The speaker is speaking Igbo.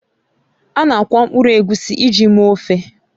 Ana akwọ mkpụrụ egusi ji mee ofe